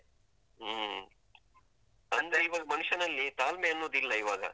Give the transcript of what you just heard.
ಹ್ಮ್, ಅಂದ್ರೆ ಈವಾಗ ಮನುಷ್ಯನಲ್ಲಿ ತಾಳ್ಮೆ ಅನ್ನುದ್ ಇಲ್ಲ ಈವಾಗ.